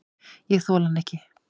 Ég þoli hann ekki.